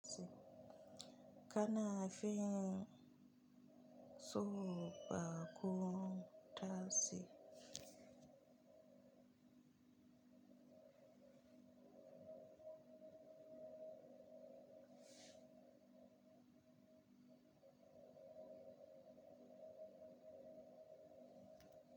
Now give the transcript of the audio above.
Kana fin son baƙo ta si?